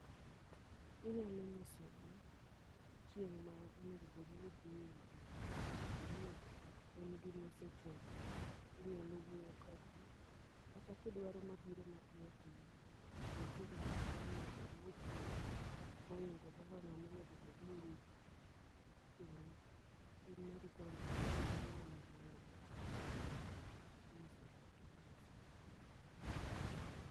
Inyalo nyisogi chieng' ma onegobedni idhiye wuoth, ka poni en gimosechopo, inyalo wuoyo kodgi. Kata kidwaro mabiro piyo piyo, to nitiere pesa monegobedni ichulo, moingo kaka ng'amonegobedni ritochulo. In mari koro onegobedni bedo ma malo matin. Kasti nyisogi to gilosoni.